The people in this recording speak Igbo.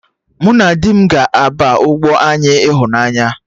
Mụ na di m ga-aba ụgbọ anyị ịhụnanya